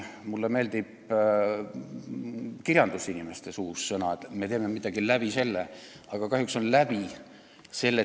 Mulle meenuvad ka kirjandusinimeste öeldud sõnad, et me teeme midagi läbi selle.